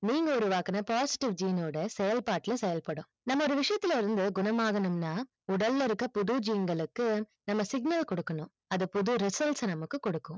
நீங்க உருவாக்கின positive gene ஓட செயல் பாட்டூல செயல் படும் நம்ம ஒரு விஷியத்துல இருந்து குணமாக்கனும்னா உடலை இருக்க புது gene களுக்கு நம்ம signal குடுக்கணும் அது புது results நம்மக்கு குடுக்கும்